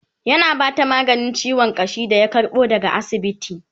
yana Bata maganin ciwon ƙashi da ya karbo daga asibiti